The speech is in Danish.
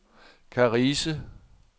Karise